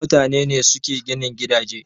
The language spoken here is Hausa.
Mutane ne suke ginin gidaje